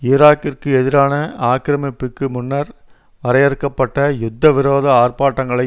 ஈராக்கிற்கு எதிரான ஆக்கிரமிப்புக்கு முன்னர் வரையறுக்க பட்ட யுத்த விரோத ஆர்ப்பாட்டங்களை